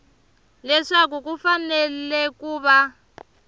leswaku ku fanele ku va